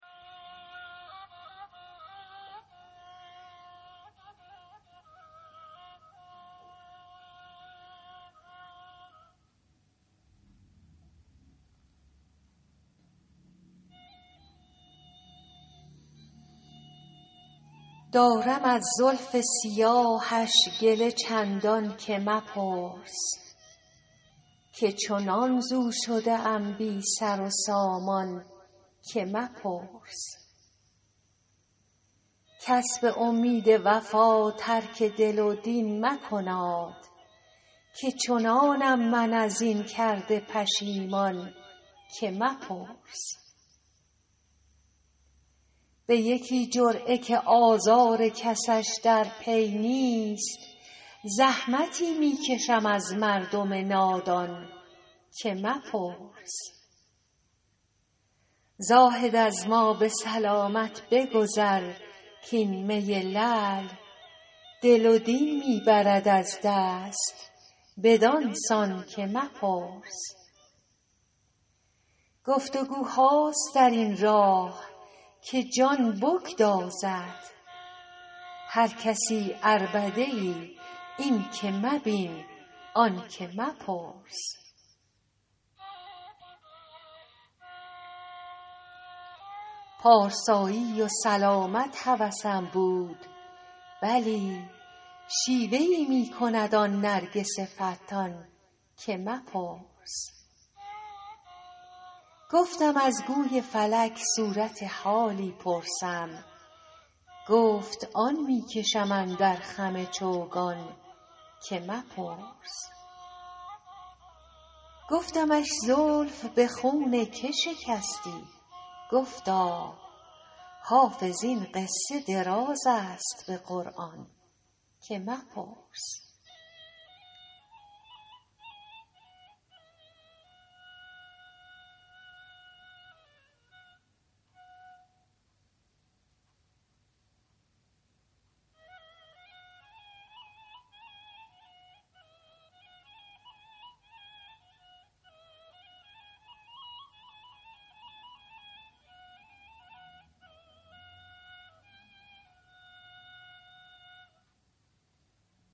دارم از زلف سیاهش گله چندان که مپرس که چنان ز او شده ام بی سر و سامان که مپرس کس به امید وفا ترک دل و دین مکناد که چنانم من از این کرده پشیمان که مپرس به یکی جرعه که آزار کسش در پی نیست زحمتی می کشم از مردم نادان که مپرس زاهد از ما به سلامت بگذر کـ این می لعل دل و دین می برد از دست بدان سان که مپرس گفت وگوهاست در این راه که جان بگدازد هر کسی عربده ای این که مبین آن که مپرس پارسایی و سلامت هوسم بود ولی شیوه ای می کند آن نرگس فتان که مپرس گفتم از گوی فلک صورت حالی پرسم گفت آن می کشم اندر خم چوگان که مپرس گفتمش زلف به خون که شکستی گفتا حافظ این قصه دراز است به قرآن که مپرس